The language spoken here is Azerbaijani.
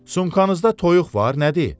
Sumkanızda toyuq var, nədir?